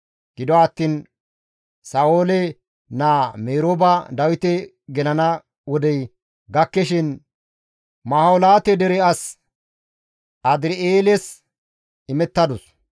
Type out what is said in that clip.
Gido attiin Sa7oole naa Merooba Dawite gelana wodey gakkishin Maholaate dere as Adir7eeles imettadus.